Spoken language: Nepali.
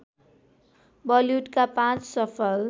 बलिउडका पाँच सफल